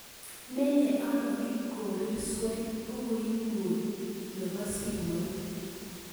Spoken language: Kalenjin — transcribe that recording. Menye ano Kipkorir swen bukuinyun nebo simoit